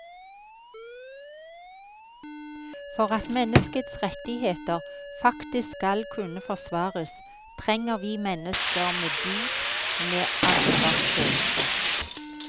For at menneskets rettigheter faktisk skal kunne forsvares, trenger vi mennesker med dyd, med ansvarsfølelse.